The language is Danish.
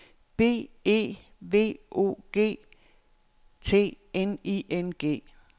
B E V O G T N I N G